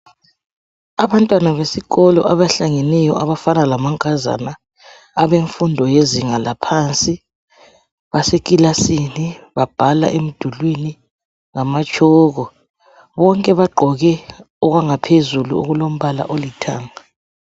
Abantwana besikolo abahlangeneyo abafana lamankazana abemfundo yezinga laphansi basekilasini babhala emdulwini ngamatshoko bonke bagqoke okwangaphezulu okulompala olithanga.